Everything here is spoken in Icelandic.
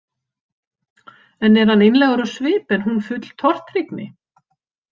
Enn er hann einlægur á svip en hún full tortryggni.